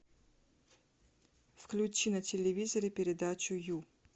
включи на телевизоре передачу ю